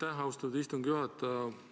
Aitäh, austatud istungi juhataja!